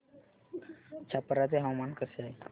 छप्रा चे हवामान कसे आहे